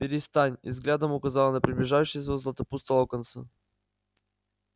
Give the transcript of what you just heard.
перестань и взглядом указала на приближающегося златопуста локонса